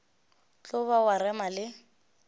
tlo ba wa rema le